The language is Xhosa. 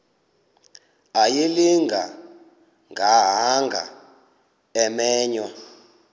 ayilinga gaahanga imenywe